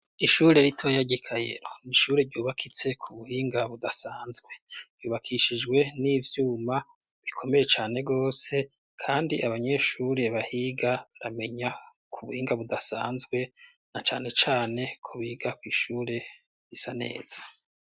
Ishure ritoya ry' I Kayero, ni ishure yubakitse ku buhinga budasanzwe. Ryubakishijwe n'ivyuma bikomeye cane gose kandi abanyeshuri bahiga ramenya ku buhinga budasanzwe na cane cane ko biga kw'ishure risa neza.